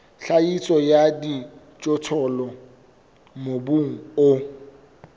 tlhahiso ya dijothollo mobung o